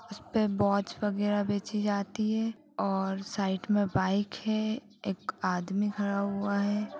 इसपे वॉच वगैरा बेचीं जाती है और साइड में बाइक है एक आदमी खड़ा हुआ है।